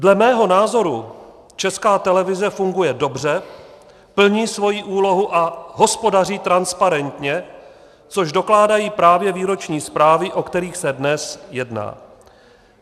Dle mého názoru Česká televize funguje dobře, plní svoji úlohu a hospodaří transparentně, což dokládají právě výroční zprávy, o kterých se dnes jedná.